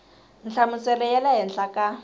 nhlamuselo ya le henhla ka